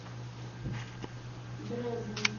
дрезна